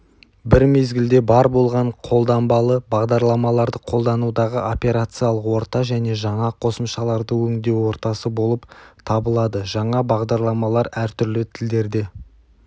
бір мезгілде бар болған қолданбалы бағдарламаларды қолданудағы операциялық орта және жаңа қосымшаларды өңдеу ортасы болып табыладыжаңа бағдарламалар әртүрлі тілдерде